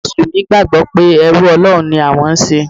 Àwọn Mùsùlùmí gbàgbọ́ pé ẹrú Ọlọ́run ni àwọn ń ṣe.